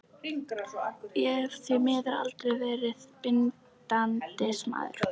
Ég hef því miður aldrei verið bindindismaður.